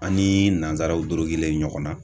An ni nanzaraw dorogilen ɲɔgɔn na.